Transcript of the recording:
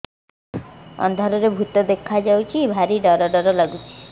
ଅନ୍ଧାରରେ ଭୂତ ଦେଖା ଯାଉଛି ଭାରି ଡର ଡର ଲଗୁଛି